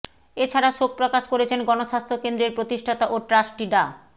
এ ছাড়া শোক প্রকাশ করেছেন গণস্বাস্থ্য কেন্দ্রের প্রতিষ্ঠাতা ও ট্রাস্টি ডা